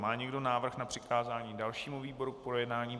Má někdo návrh na přikázání dalšímu výboru k projednání?